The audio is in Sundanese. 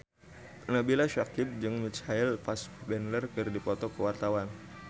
Nabila Syakieb jeung Michael Fassbender keur dipoto ku wartawan